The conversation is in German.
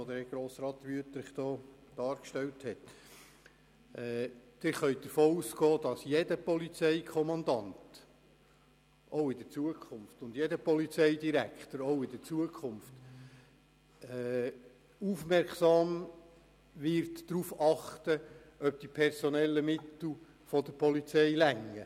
Sie können davon ausgehen, dass auch in Zukunft jeder Polizeikommandant und jeder Polizeidirektor aufmerksam darauf achten wird, ob die personellen Mittel der Polizei ausreichen.